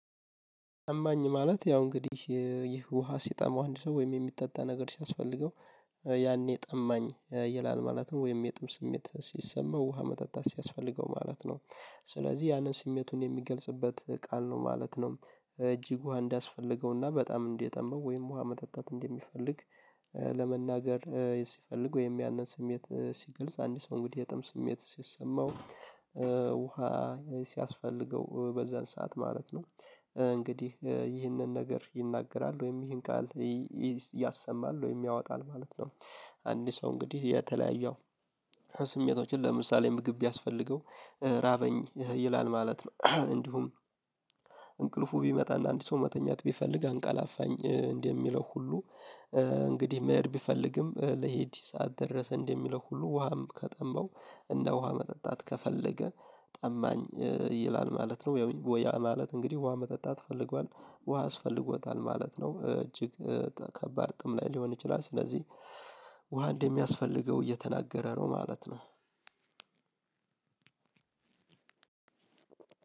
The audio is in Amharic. ጠማኝ ማለት ያው እንግዲህ ይህ ውሃ ሲጠማው አንድ ሰው ወይም የሚጠጣ ነገር ሲያስፈልገው ጠማኝ ማለት ያው እንግዲህ ይህ ውሃ ሲጠማው አንድ ሰው ወይም የሚጠጣ ነገር ሲያስፈልገው ያኔ ጠማኝ ይላል ማለት ነው ወይም የጥም ስሜት ሲሰማው ውሃ መጠጣት ሲያስፈልገው ማለት ነው። ለመናገር ሲፈልግ ወይም ያንን ስሜት ሲግልጽ አንድ ሰው እንግዲህ የጥም ስሜት ሲሰማው ውሃ ሲያስፈልገው በዛን ሰዓት ማለት ነው እንግዲህ ይህንን ነገር ይናገራል ወይም ይህን ቃል ያሰማል ወይም ያወጣል ማለት ነው። አንድ ሰው እንግዲህ የተለያየ ስሜቶችን ለምሳሌ ምግብ ቢያስፈልገው ራበኝ ይላል ማለት ነው። እንዲሁም እንቅልፉ ቢመጣና አንድ ሰው መተኛት ቢፈልግ አንቀላፋኝ እንደ ሚለው ሁሉ እንግዲህ መሄድ ቢፈልግም ልሂድ ሰዓት ደረሰ እንደሚለው ሁሉ ውሃም ከጠማው እንደው ውሃ መጠጣት ከፈለገ ጠማኝ ይላል ማለት ነው። ያው ወያ ማለት እንግዲህ ውሃ መጠጣት ፈልጓል ውሃ አስፈልጎታል ማለት ነው። እጅግ ከባድ ጥም ላይ ሊሆን ይችላል ስለዚህ ውሃ እንደሚያስፈልገው እየተናገረ ነው ማለት ነው።